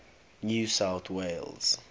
new south wales